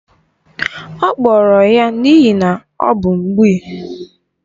Ọ kpọrọrọ n'ihi na ọ bụ mgbịị